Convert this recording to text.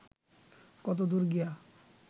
কতদূর গিয়া